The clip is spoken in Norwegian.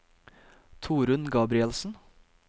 Torunn Gabrielsen